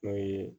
N'o ye